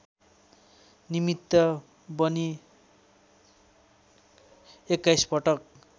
निमित्त बनी एक्काइसपटक